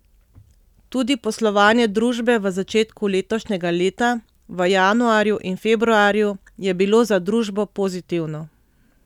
Tudi poslovanje družbe v začetku letošnjega leta, v januarju in februarju, je bilo za družbo pozitivno.